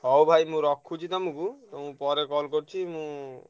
ହଉ ଭାଇ ମୁଁ ରଖୁଛି ତମୁକୁ ଉଁ ପରେ call କରୁଚି ମୁଁ,